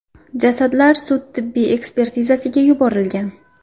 Jasadlar sud-tibbiy ekspertizasiga yuborilgan.